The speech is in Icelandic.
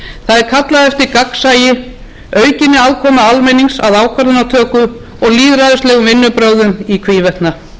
er kallað eftir nýjum vinnubrögðum það er kallað eftir gagnsæi aukinni aðkomu almennings að ákvarðanatöku og lýðræðislegum vinnubrögðum í hvívetna eftir áratugareynslu af störfum alþingis